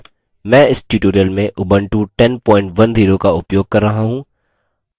मैं इस tutorial में उबंटू 1010 का उपयोग कर रहा हूँ